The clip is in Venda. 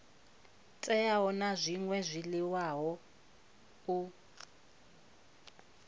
teaho na zwṅwe zwiḽiwa u